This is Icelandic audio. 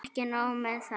Ekki nóg með það.